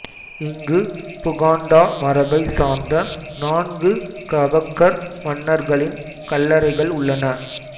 இங்கு புகாண்டா மரபை சார்ந்த நான்கு கபக்கர் மன்னர்களின் கல்லறைகள் உள்ளன